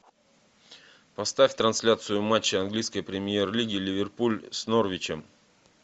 поставь трансляцию матча английской премьер лиги ливерпуль с норвичем